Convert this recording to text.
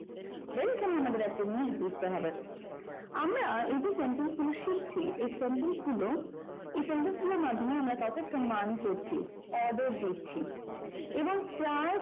এখানে আমাদেরকে একটা জিনিস বুঝতে হবে আমরা এই যে sentence গুলো শিখছি এই sentence গুলো এই sentence গুলোর মাধ্যমেই আমরা command করছি order দিচ্ছি এবং প্রায় কথাa